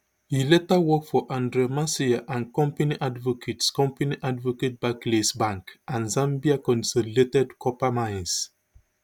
e later work for andre masiye and company advocates company advocates barclays bank and zambia consolidated copper mines